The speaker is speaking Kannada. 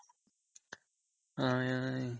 ಹ